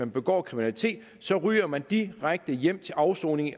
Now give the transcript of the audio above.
begår kriminalitet ryger man direkte hjem til afsoning i